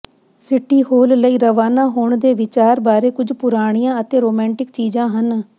city hall ਲਈ ਰਵਾਨਾ ਹੋਣ ਦੇ ਵਿਚਾਰ ਬਾਰੇ ਕੁਝ ਪੁਰਾਣੀਆਂ ਅਤੇ ਰੋਮਾਂਟਿਕ ਚੀਜ਼ਾਂ ਹਨ